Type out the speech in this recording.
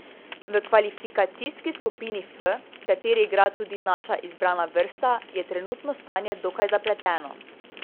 V kvalifikacijski skupini F, v kateri igra tudi naša izbrana vrsta, je trenutno stanje dokaj zapleteno.